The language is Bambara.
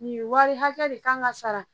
Nin wari hakɛ de kan ka sara